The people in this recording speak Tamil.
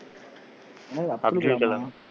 என்னது